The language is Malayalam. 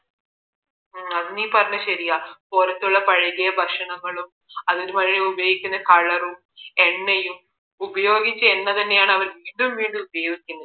ആ അത് നീ പറഞ്ഞത് ശരിയാ പുറത്തുള്ള പഴകിയ ഭക്ഷണങ്ങളും അതിന് മുകളിൽ ഉപയോഗിക്കുന്ന color റും എണ്ണയും ഉപയോഗിച്ച എണ്ണ തന്നെയാണ് വീണ്ടും വീണ്ടും ഉപയോഗിക്കുന്നത്